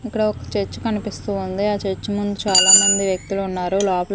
అక్కడ ఒక చర్చ్ కనిపిస్తూ ఉంది ఆ చర్చ్ ముందు చాలామంది వ్యక్తులు ఉన్నారు లోపల--